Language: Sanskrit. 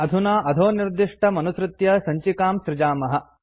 अधुना अधोनिर्दिष्टमनुसृत्य सञ्चिकां सृजामः